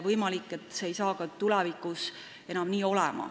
Võimalik, et see ei saa ka tulevikus nii olema.